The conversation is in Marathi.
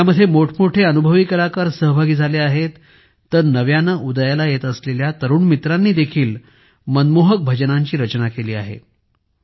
यामध्ये मोठमोठे अनुभवी कलाकार सहभागी झाले आहेत तर नव्याने उदयाला येत असलेल्या तरुण मित्रांनी देखील मनमोहक भजनांची रचना केली आहे